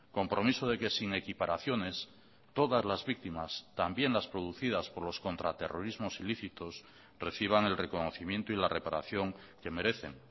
compromiso de que sin equiparaciones todas las víctimas también las producidas por los contra terrorismos ilícitos reciban el reconocimiento y la reparación que merecen